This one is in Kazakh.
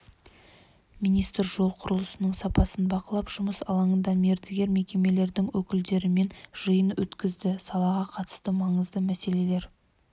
министр жол құрылысының сапасын бақылап жұмыс алаңында мердігер мекемелердің өкілдерімен жиын өткізді салаға қатысты маңызды мәселелер